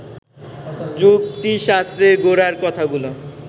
যুক্তিশাস্ত্রের গোড়ার কথাগুলো